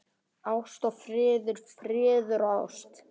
Ást og friður, friður og ást.